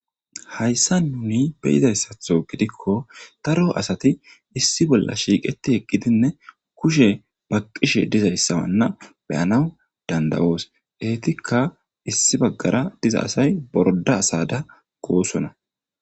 Hayssan nuni be'izayssatho gidikko daro asati issi bolla shiiqetti eqqidinne kushe baqqishe dizayssana be'anaw danda'os; eetika issi baggara diza asay borodda asada goosona.